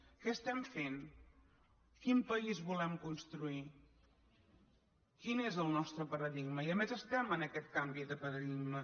què estem fent quin país volem construir quin és el nostre paradigma i a més estem en aquest canvi de paradigma